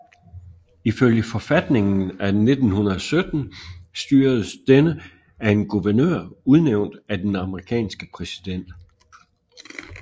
Ifølge forfatningen af 1917 styredes denne af en guvernør udnævnt af den amerikanske præsident